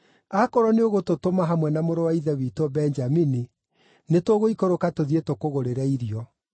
Akorwo nĩũgũtũtũma hamwe na mũrũ wa ithe witũ Benjamini, nĩtũgũikũrũka tũthiĩ tũkũgũrĩre irio.